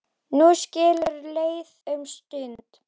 Nú skilur leiðir um stund.